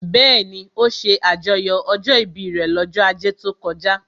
Bẹ́ẹ̀ni, ó ṣe àjọyọ̀ ọjọ́ ìbí rẹ̀ lọ́jọ́ ajé tó kọjá